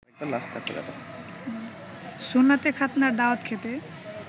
সুন্নাতে খাৎনার দাওয়াত খেতে